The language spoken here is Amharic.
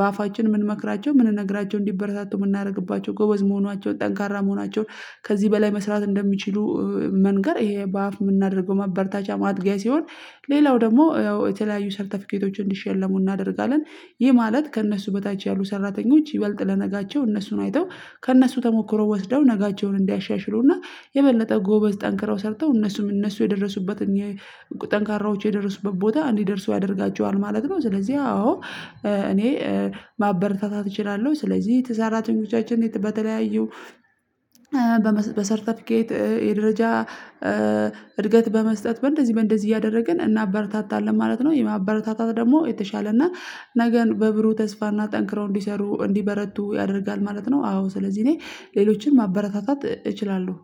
በአፋችን ምንመክራቸው ምንነግራቸው እንዲበረታቱ የምናደርግባቸው ጎበዝ መሆናቸውን ጠንካራ መሆናቸውን ከዚህ በላይ መስራት እንደሚችሉ መንገር ይሄ በአፍ የምናደርገው ማበርታቻ ማጥገያ ሲሆን። ሌላው ደግሞ ያው የተለያዩ ሰርተፊኬቶች እንዲሸለሙ እናደርጋለን። ይሄ ማለት ከእነሱ በታች ያሉ ሰራተኞች ይበልጥ ለነጋቸው እነሱን አይተው ከእነሱ ተሞክሮ ወስደው ነጋቸውን እንዲያሻሽሉና የበለጠ ጎበዝ ጠንክረው ሰርተው እነሱም እነሱ የደረሱበት ጠንካራዎች የደረሱበት ቦታ እንዲደርሰው ያደርጋቸዋል ማለት ነው። ስለዚህ አዎ እኔ ማበረታታት እችላለሁ። ስለዚህ የተሰራተኞቻችን በተለያዩ በሰርተፊኬት የደረጃ እድገት በመስጠት በእንደዚህ በእንደዚህ እያደረግን እናበረታታለን ማለት ነው። የማበረታታት ደግሞ የተሻለ እና ነገን በብሩህ ተስፋና ጠንክረው እንዲሰሩ እንዲበረቱ ያደርጋል ማለት ነው። አዎ ስለዚህ እኔ ሌሎችን ማበረታታት እችላለሁ